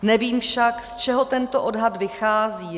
Nevím však, z čeho tento odhad vychází.